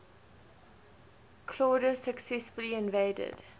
claudius successfully invaded